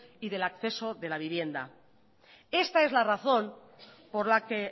y del acceso de la vivienda esta es la razón por la que